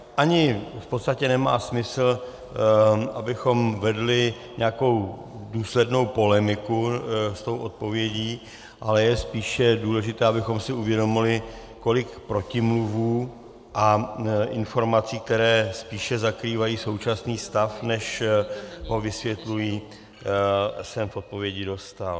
Ani v podstatě nemá smysl, abychom vedli nějakou důslednou polemiku s tou odpovědí, ale je spíše důležité, abychom si uvědomili, kolik protimluvů a informací, které spíše zakrývají současný stav, než ho vysvětlují, jsem v odpovědi dostal.